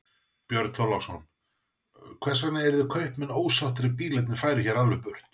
Björn Þorláksson: Hvers vegna yrðu kaupmenn ósáttir ef bílarnir færu hér alveg burt?